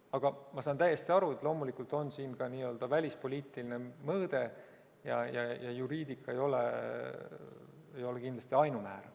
Aga ma saan täiesti aru, et loomulikult on siin ka välispoliitiline mõõde ja juriidika ei ole kindlasti ainumäärav.